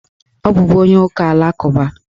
Ọ bụbu onye ụka alakụba.